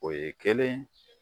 O ye kelen ye